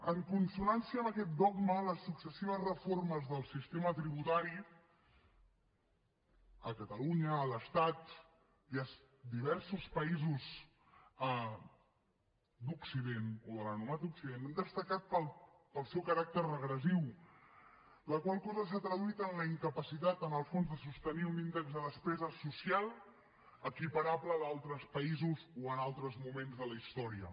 en consonància amb aquest dogma les successives reformes del sistema tributari a catalunya a l’estat i a diversos països d’occident o de l’anomenat occident han destacat pel seu caràcter regressiu la qual cosa s’ha traduït en la incapacitat en el fons de sostenir un índex de despesa social equiparable a d’altres països o a altres moments de la història